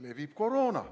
Levib koroona.